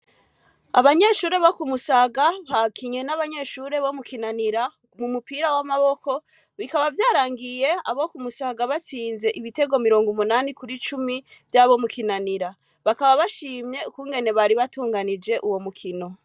Abanyeshure bo kumusaga bakinywe n'abanyeshure bo mu kinanira mu mupira w'amaboko bikaba vyarangiye abo kumusaga batsinze ibitego mirongo umunani kuri cumi vy'abo mu kinanira bakaba bashimye ukungene bari batunganije uwo mukino.